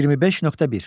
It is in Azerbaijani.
25.1.